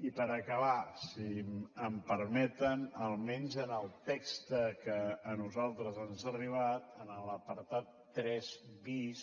i per acabar si em permeten almenys en el text que a nosaltres ens ha arribat en l’apartat tres bis